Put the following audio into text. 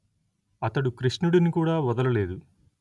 అతడు కృష్ణుడిని కూడా వదల లేదు